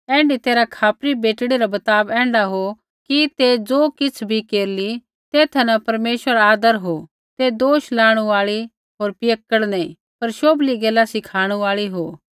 ऐण्ढी तैरहा खापरी बेटड़ी रा बर्ताव ऐण्ढा हो कि ते ज़ो किछ़ भी केरली तेथा न परमेश्वरा रा आदर हो ते दोष लाणु आल़ी होर पियक्कड़ नैंई पर शौभली गैला सिखाणु आल़ी हो